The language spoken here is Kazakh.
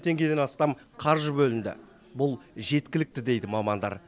теңгеден астам қаржы бөлінді бұл жеткілікті дейді мамандар